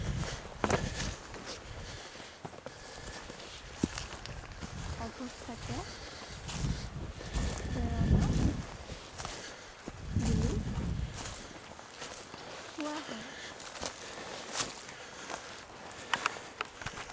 অৱস্থাকে প্ৰেৰণা বুলি কোৱা হয়।